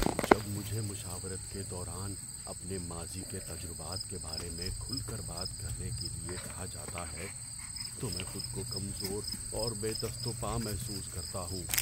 جب مجھے مشاورت کے دوران اپنے ماضی کے تجربات کے بارے میں کھل کر بات کرنے کے لیے کہا جاتا ہے تو میں خود کو کمزور اور بے دست و پا محسوس کرتا ہوں۔